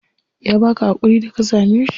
Ya baka hakuri da ka same shi?